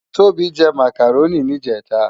Tobi jè mákáróni nijètá